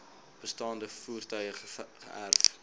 bestaande voertuie geërf